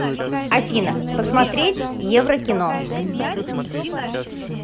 афина посмотреть еврокино